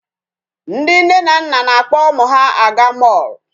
Ndị nne na nna na-akpọ ụmụ ha aga mall.